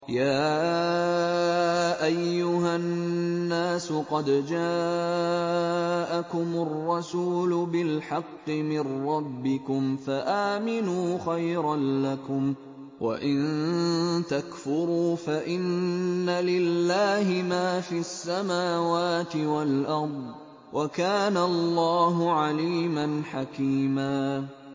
يَا أَيُّهَا النَّاسُ قَدْ جَاءَكُمُ الرَّسُولُ بِالْحَقِّ مِن رَّبِّكُمْ فَآمِنُوا خَيْرًا لَّكُمْ ۚ وَإِن تَكْفُرُوا فَإِنَّ لِلَّهِ مَا فِي السَّمَاوَاتِ وَالْأَرْضِ ۚ وَكَانَ اللَّهُ عَلِيمًا حَكِيمًا